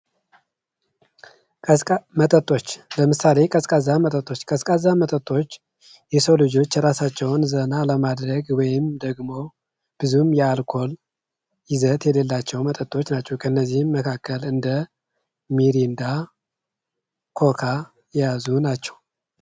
ቀዝቃዛ መጠጦች ለምሳሌ ቀዝቃዛ መጠጦች የሰው ልጆች ራሳቸውን ዘና ለማድረግ ወይም ደግሞ ብዙም የአልኮል ይዘት የሌላቸው መጠጦች ናቸው ከነዚህ መካከል እንደ ሚሪንዳ ኮካ የያዙ ናቸው።